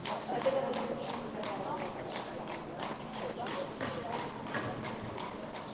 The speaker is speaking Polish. Dlatego powinniśmy zagwarantować jasność i przejrzystość przepisów chroniących konsumenta.